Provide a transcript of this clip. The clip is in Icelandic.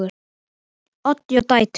Oddný og dætur.